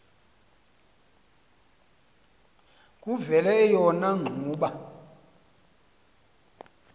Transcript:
kuvele eyona ngxuba